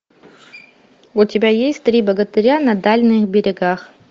у тебя есть три богатыря на дальних берегах